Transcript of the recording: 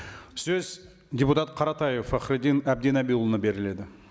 сөз депутат қаратаев фахриддин әбдінабиұлына беріледі